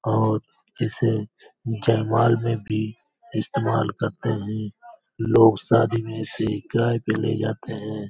और इसे जयमाल में भी इस्तेमाल करते हैं लोग शादी में इसे किराये पे ले जाते हैं ।